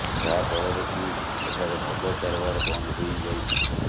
ଯାହା ଫଳରେ କି ଏଠାରେ ମଦ କାରବାର ବନ୍ଦ ହୋଇଯାଇଛି